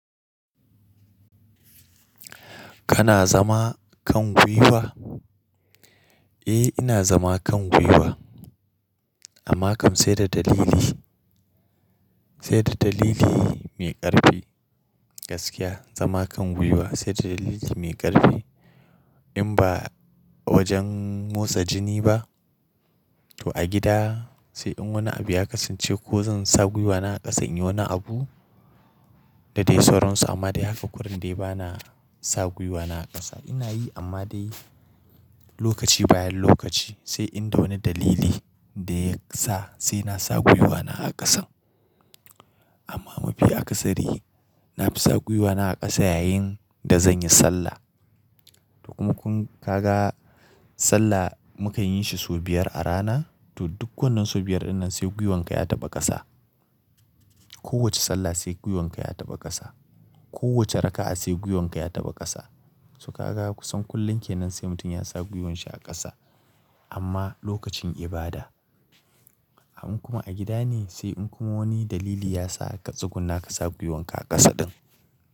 Kana zama kan gwiwa? Eh ina zama kan gwiwa, amma kam sai da dalili, sai da dalili mai ƙarfi. Gaskiya zama kan gwiwa sai da dalili mai ƙarfi in ba wajen motsa jini ba. To a gida sai in wani abu ya kasance ko zan sa gwiwana a ƙasa in yi wani abu da dai sauransu amma dai haka kurun dai bana sa gwiwana a ƙasa. Ina yi amma dai lokaci bayan lokaci sai in da wani dalili da ya sa sai na sa gwiwana a ƙasan. Amma mafi akasari na fi sa gwiwana a ƙasa yayin da zan yi sallah. To kuma kun kaga sallah muka yin shi sau biyar a rana to duk wannan sau biyar dinnan sai gwiwanka ya taɓa ƙasa. Kowace sallah sai gwiwanka ya taɓa ƙasa. Kowace raka'a sai gwiwanka ya taɓa ƙasa. To ka ga kusan kullum kenan sai mutum ya sa gwiwan shi a ƙasa amma lokacin ibada. In kuma a gida ne sai in kuma wani dalili ya sa ka tsugunna ka sa gwiwon ka a ƙasa ɗin.